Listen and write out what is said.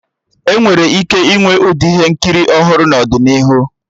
Enwere ike ịnwe Ụdị ihe nkiri ọhụrụ n'ọdịnihu